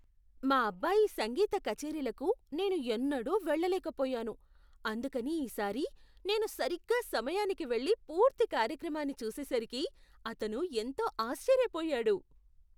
మా అబ్బాయి సంగీత కచేరీలకు నేను ఎన్నడూ వేళ్ళలేకపోయాను, అందుకని ఈ సారి నేను సరిగ్గా సమయానికి వెళ్లి పూర్తి కార్యక్రమాన్ని చూసేసరికి అతను ఎంతో ఆశ్చర్యపోయాడు.